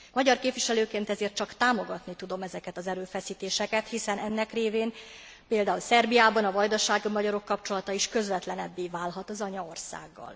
Magyar képviselőként ezért csak támogatni tudom ezeket az erőfeszítéseket, hiszen ennek révén, például Szerbiában, a vajdasági magyarok kapcsolata is közvetlenebbé válhat az anyaországgal.